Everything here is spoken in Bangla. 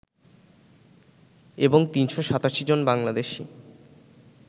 এবং ৩৮৭ জন বাংলাদেশি